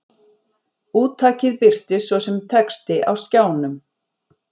Úttakið birtist svo sem texti á skjánum.